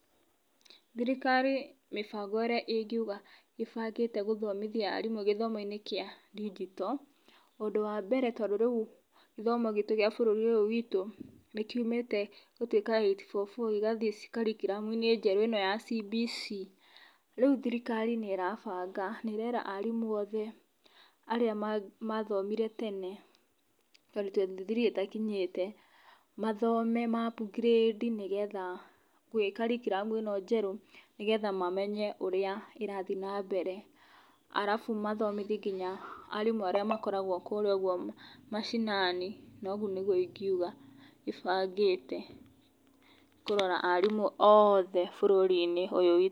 Thirikari mĩbango ĩrĩa ĩngĩuga ĩbangĩte gũthomithia arimũ gĩthomoinĩ kĩa ndinjito ũndũ wa mbere tondũ rĩu gĩthomo gitũ gĩa bũrũri ũyũ witũ nĩ kĩumĩte gũtuĩka Eight-four-four gĩgathiĩ curriculum njerũ ĩno ya CBC,rĩu thirikari nĩ ĩrabanga nĩ ĩrera arimũ othe arĩa mathomire tene twenty twenty three ĩtakinyĩte mathome ma upgrade nĩgetha gĩa cirricurum ĩno njerũ nĩgetha mamenye ũrĩa ĩrathiĩ na mbere arabu mathomithie nginya arimũ arĩa makoragwo kũrĩa ũguo mashinani na ũguo nĩguo ingĩuga ĩbangĩte kũrora arimũ othe bũrũri-inĩ ũyũ witũ.